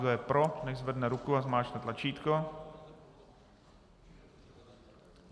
Kdo je pro nechť zvedne ruku a zmáčkne tlačítko.